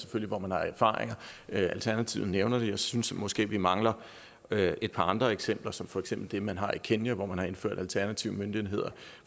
hvor man selvfølgelig har erfaringer hvilket alternativet også nævner jeg synes måske vi mangler et par andre eksempler som for eksempel det man har set i kenya hvor man har indført alternative møntenheder